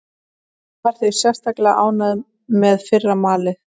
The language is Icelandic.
Ég var því sérstaklega ánægður með fyrra malið.